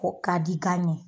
O ka di gan ye